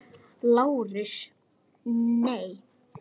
LÁRUS: Nei!